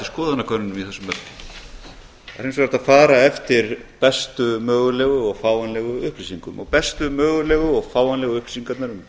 skoðanakönnunum í þessum efnum en það er hins vegar hægt að fara eftir bestu mögulegu og fáanlegu upplýsingum og bestu mögulegu og fáanlegu upplýsingarnar um